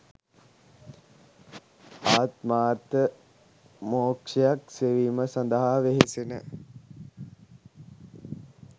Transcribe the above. ආත්මාර්ථ මෝක්‍ෂයක් සෙවීම සඳහා වෙහෙසෙන